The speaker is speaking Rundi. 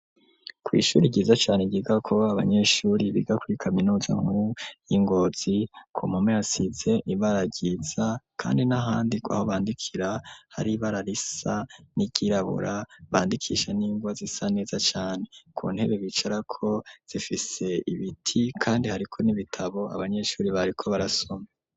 kw'ishuri ryiza cane ryigako abanyeshuri biga kuri kaminuza nkuru yi Ngozi komome asize ibara ryiza kandi n'ahandi aho bandikira hari ibara risa n'iryirabura bandikisha n'ingwa zisa neza cane ku ntebe bicarako zifise ibiti kandi hariko n'ibitabo abanyeshuri bariko barasoma.